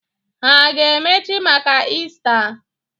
Ha a ga-emechi maka Iista?